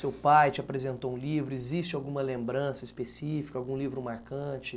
Seu pai te apresentou um livro, existe alguma lembrança específica, algum livro marcante?